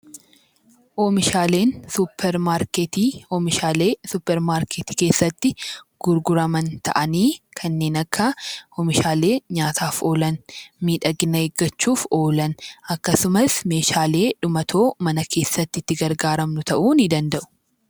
Oomishaaleen suupparmaarkeetii oomishaalee suupparmaarkeetii keessatti gurguraman ta'anii kanneen akka oomishaalee nyaataa, miidhagina eeggachuuf oolan akkasumas meeshaalee dhumatoo mana keessatti itti gargaaramnu ta'uu ni danda'u